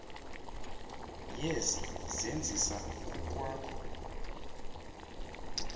yezi zenzisa kukwakho